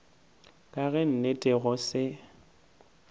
ka ge nnete go se